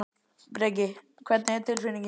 Breki: Hvernig er tilfinningin?